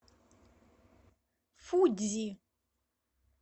фудзи